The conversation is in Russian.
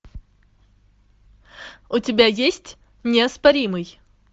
у тебя есть неоспоримый